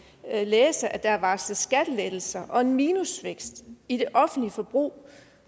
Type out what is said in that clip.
læse at der er varslet skattelettelser og en minusvækst i det offentlige forbrug